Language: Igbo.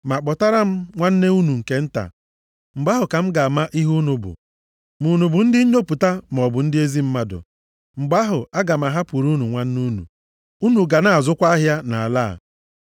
Ma kpọtara m nwanne unu nke nta. Mgbe ahụ ka m ga-ama ihe unu bụ. Ma unu bụ ndị nnyopụta maọbụ ndị ezi mmadụ. Mgbe ahụ, aga m ahapụrụ unu nwanne unu. Unu ga na-azụkwa ahịa nʼala a.’ ”